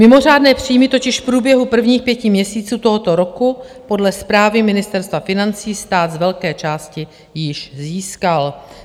Mimořádné příjmy totiž v průběhu prvních pěti měsíců tohoto roku podle zprávy Ministerstva financí stát z velké části již získal.